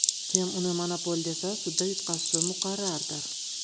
Kim uni monopol desa, sudda yutqazishi muqarrardir.